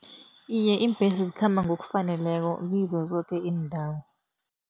Iye, iimbhesi zikhamba ngokufaneleko ziko zonke iindawo.